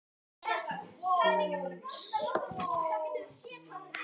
Einsog mig.